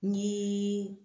Ni